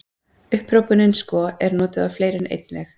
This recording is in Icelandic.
Upphrópunin sko er notuð á fleiri en einn veg.